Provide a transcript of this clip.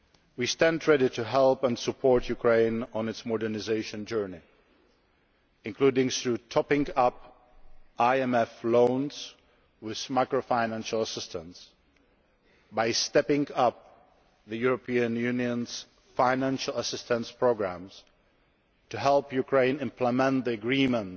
We stand ready to help and support Ukraine on its modernisation journey, including through topping up IMF loans with macro financial assistance, stepping up the European Union's financial assistance programmes to help Ukraine implement the Agreement,